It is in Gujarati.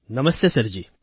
નમસ્તે સર જી